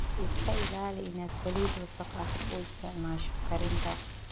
Iska ilaali inaad saliid wasakh ah u isticmaasho karinta.